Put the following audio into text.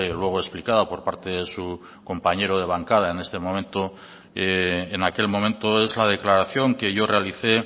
luego explicada por parte de su compañero de bancada en este momento en aquel momento es la declaración que yo realicé